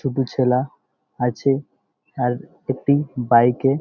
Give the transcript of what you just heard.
দুটি ছেলা আছে-এ আর একটি বাইক -এ --